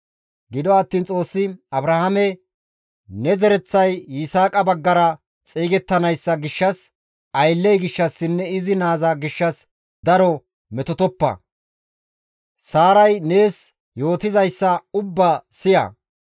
Gido attiin Xoossi Abrahaame, «Ne zereththay Yisaaqa baggara xeygettanayssa gishshas aylley gishshassinne izi naaza gishshas daro metotoppa; Saaray nees yootizayssa ubbaa siya.